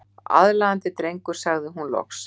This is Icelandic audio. Aðlaðandi drengur sagði hún loks.